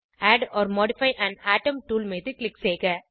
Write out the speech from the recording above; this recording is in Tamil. add or modify an atom tool மீது க்ளிக் செய்க